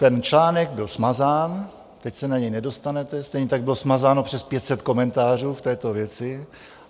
Ten článek byl smazán, teď se na něj nedostanete, stejně tak bylo smazáno přes 500 komentářů v této věci.